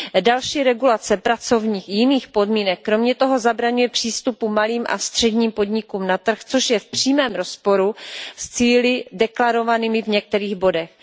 Další regulace pracovních i jiných podmínek kromě toho zabraňuje přístupu malých a středních podniků na trh, což je v přímém rozporu s cíli deklarovanými v některých bodech.